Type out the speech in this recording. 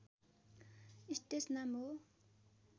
stage नाम हो